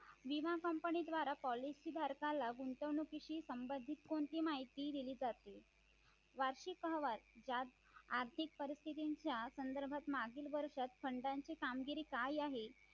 विमा company द्वारा policy धारकाला गुंतवणुकीशी संबंधित कोणती माहिती दिली जाते वार्षिक अहवाल त्यात आर्थिक परिस्थितीच्या संदर्भात मागील वर्षात खंडांचे कामगिरी काय आहे